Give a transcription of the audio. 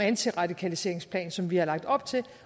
antiradikaliseringsplan som vi har lagt op til